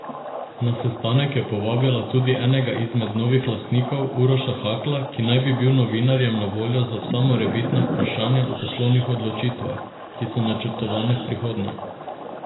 Na sestanek je povabila tudi enega izmed novih lastnikov, Uroša Hakla, ki naj bi bil novinarjem na voljo za vsa morebitna vprašanja o poslovnih odločitvah, ki so načrtovane v prihodnje.